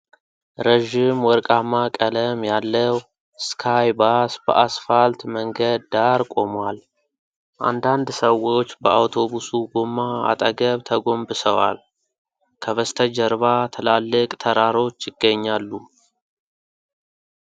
ረዥም ወርቃማ ቀለም ያለው ስካይ ባስ በአስፋልት መንገድ ዳር ቆሟል። አንዳንድ ሰዎች በአውቶቡሱ ጎማ አጠገብ ተጎንብሰዋል። ከበስተጀርባ ትላልቅ ተራሮች ይገኛሉ።